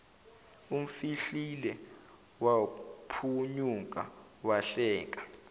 umfihlile waphunyuka wahleka